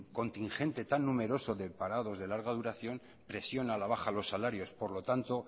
contingente tan numeroso de parados de larga duración presiona a la baja los salarios por lo tanto